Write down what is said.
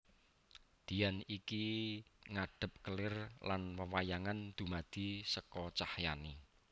Dian iki ngadhep kelir lan wewayangan dumadi seka cahyané